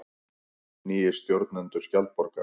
Nýir stjórnendur Skjaldborgar